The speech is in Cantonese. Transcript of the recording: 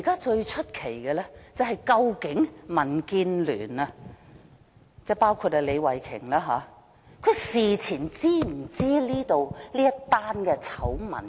最奇怪的是，究竟民建聯包括李慧琼議員事前是否知悉這宗醜聞？